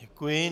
Děkuji.